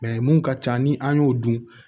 mun ka ca ni an y'o dun